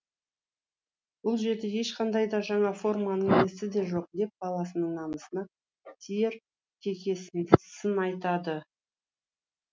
бұл жерде ешқандай да жаңа форманың иісі де жоқ деп баласының намысына тиер кекесі сын айтады